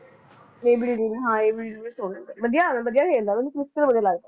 ਏ B de Villiers ਹਾਂ A B de Villiers ਹੈਗਾ ਵਧੀਆ ਹੈਗਾ ਵਧੀਆ ਖੇਡਦਾ ਮੈਨੂੰ ਸੱਚੀ ਵਧੀਆ ਲੱਗਦਾ